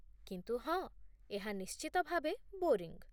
କିନ୍ତୁ ହଁ, ଏହା ନିଶ୍ଚିତ ଭାବେ ବୋରିଙ୍ଗ୍